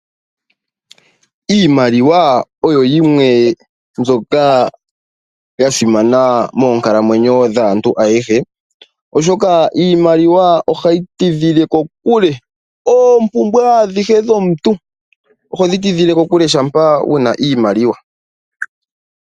Iimaliwa oyo yimwe mbyoka ya simana moonkalamwenyo dhantu ayehe. Oshoka iimaliwa ohayi tidhile kokule oompumbwe adhihe dhomuntu oho dhi tidhile kokule shampa wuna iimaliwa.